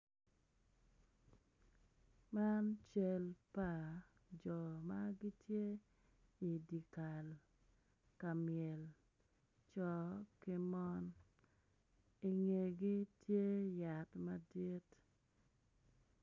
Man cal pa jo ma gitye i dye kal ka myel co ki mon i ngegi tye yat madit.